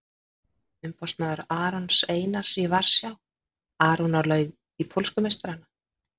Umboðsmaður Arons Einars í Varsjá- Aron á leið til pólsku meistarana?